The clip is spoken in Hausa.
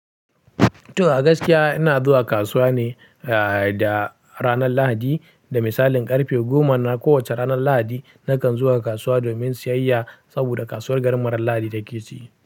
To, a gaskiya ina zuwa kasuwa ne, eh, da ranar Lahadi da misalin ƙarfe goma na kowacce ranar Lahadi nakan zuwa kasuwa domin siyayya saboda kasuwar garin mu ranar Lahadi take ci.